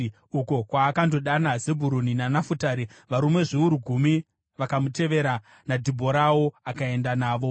uko kwaakandodana Zebhuruni naNafutari. Varume zviuru gumi vakamutevera, naDhibhorawo akaenda navo.